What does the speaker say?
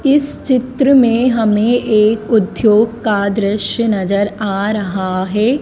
इस चित्र में हमें एक उद्योग का दृश्य नजर आ रहा है।